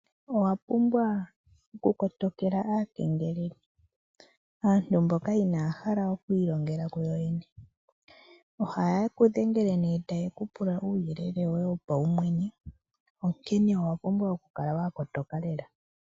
Owapumbwa oku kotokela aakengeleli aantu mboka inaya hala okwiilongela kuyowene. Ohaye kudhengele taye kupula uuyelele woye wopaumwene onkene owapumbwa okukala wakotoka lela.